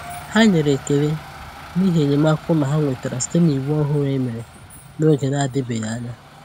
Ha nyere ekele n’ihi enyémàkà ụlọ ha nwetara site n’iwu òhùrù e mere n'oge na-adịbeghị anya.